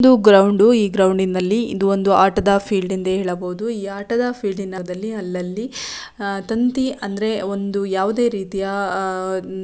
ಇದು ಗ್ರೌಂಡು ಈ ಗ್ರೌಂಡಿನಲ್ಲಿ ಇದು ಒಂದು ಆಟದ ಫೀಲ್ಡ್ ಎಂದು ಹೇಳಬಹುದು ಈ ಆಟದ ಫೀಲ್ಡ್ ನ ಒಂದು ಭಾಗದಲ್ಲಿ ಅಲ್ಲಲ್ಲಿ ಆಹ್ಹ್ ತಂತಿ ಅಂದ್ರೆ ಒಂದು ಯಾವುದೇ ರೀತಿಯ ಆಹ್ಹ್ --